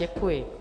Děkuji.